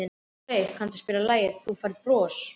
Rósey, kanntu að spila lagið „Þú Færð Bros“?